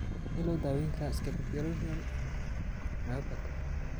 Sidee loo daweyn karaa scapupoperoneal myopathy?